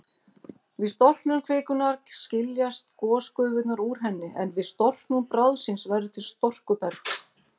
Við storknun kvikunnar skiljast gosgufurnar úr henni, en við storknun bráðsins verður til storkuberg.